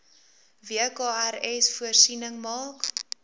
wkrs voorsiening maak